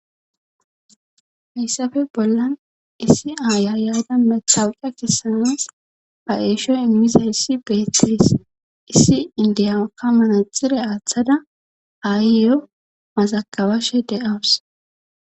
Hessafe bollan issi aaya yada mexawuca kessanas ba eeshoy immiza issi beexidis issi indiyamaka manaxire aaththada ayyyo mazakabashe de'awus.